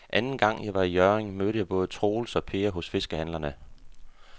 Anden gang jeg var i Hjørring, mødte jeg både Troels og Per hos fiskehandlerne.